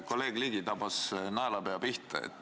Kolleeg Ligi tabas naelapea pihta.